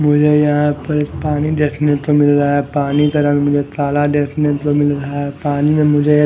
मुझे यहां पर पानी देखने तो मिल रहा है। पानी का रंग मुझे ताला देखने तो मिल रहा है। पानी में मुझे--